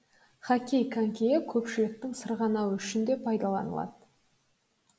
хоккей конькиі көпшіліктің сырғанауы үшін де пайдаланылады